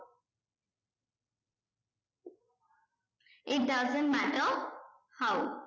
it doesn't matter how